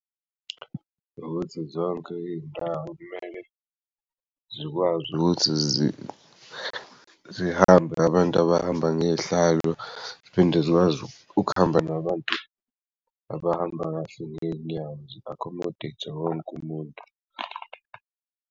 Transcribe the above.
Ukuthi zonke iy'ndawo ekumele zikwazi ukuthi zihambe abantu abahamba ngezihlalo, ziphinde zikwazi ukuhamba nabantu abahamba kahle ngey'nyawo zi-accommodate-e wonke'umuntu.